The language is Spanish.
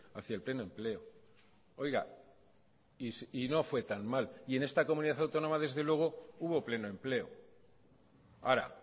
hacía el pleno empleo oiga y no fue tan mal y en esta comunidad autónoma desde luego hubo pleno empleo ahora